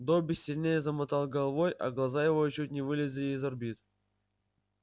добби сильнее замотал головой а глаза его чуть не вылезли из орбит